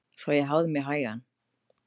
Svo ég hafði mig hægan.